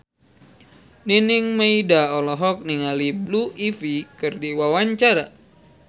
Nining Meida olohok ningali Blue Ivy keur diwawancara